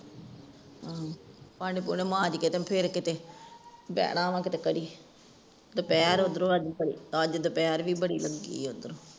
ਹੂ ਭਾਂਡੇ ਭੂੰਡੇ ਮਾਂਜ ਕੇ ਤੇ ਫੇਰ ਕਿਥੇ ਬਹਣਾ ਵਾ ਇਥੇ ਘੜੀ ਦੁਪਹਿਰ ਉਧਰੋਂ ਅਜ ਬੜੀ ਅਜ ਦੁਪਹਿਰ ਵੀ ਬੜ੍ਹੀ ਲਗੀ ਆ ਉਧਰੋਂ